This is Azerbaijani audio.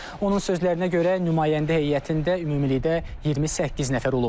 Onun sözlərinə görə, nümayəndə heyətində ümumilikdə 28 nəfər olub.